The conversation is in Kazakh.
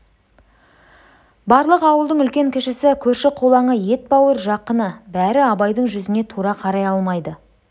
барлық ауылдың үлкен-кішісі көрші-қолаңы етбауыр жақыны бәрі абайдың жүзіне тура қарай алмайды